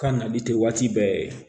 K'a nali tɛ waati bɛɛ ye